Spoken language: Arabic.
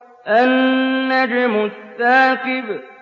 النَّجْمُ الثَّاقِبُ